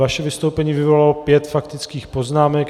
Vaše vystoupení vyvolalo pět faktických poznámek.